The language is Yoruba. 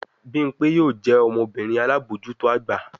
Bimpe yoo jẹ ọmọbirin alabojuto agba